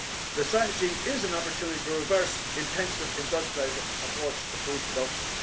The Strategy is an opportunity to reverse the intensive industrialised approach to food production.